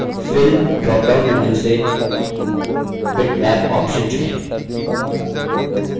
fill dropdown menu से bitmap option चुनें